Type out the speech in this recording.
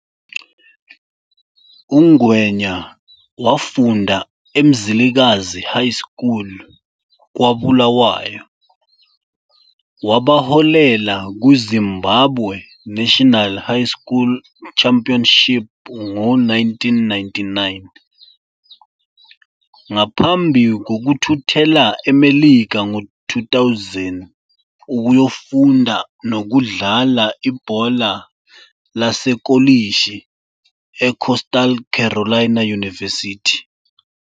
UNgwenya wafunda eMzilikazi High School kwaBulawayo, wabaholela kwi-Zimbabwe National High School Championship ngo-1999, ngaphambi kokuthuthela eMelika ngo-2000 ukuyofunda nokudlala ibhola lasekolishi eCoastal Carolina University.